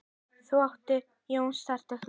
Þar átti Jón stóran hlut.